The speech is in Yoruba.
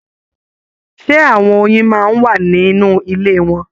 Ṣe àwọn oyin máa n wà nínú ilé wọn?